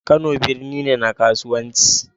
Kano birni ne na kasuwanci